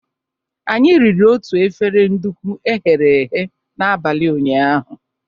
Anyị riri otu efere nduku e ghere eghe n'abalị ụnyaahụ.